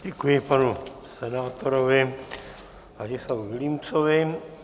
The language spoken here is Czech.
Děkuji panu senátorovi Vladislavu Vilímcovi.